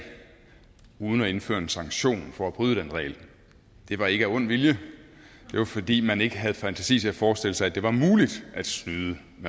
uden at indføre en sanktion for at bryde den regel det var ikke af ond vilje det var fordi man ikke havde fantasi til forestille sig at det var muligt at snyde